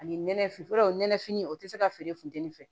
Ani nɛnɛfini fɔlɔ nɛnɛfini o tɛ se ka feere funtɛni fɛ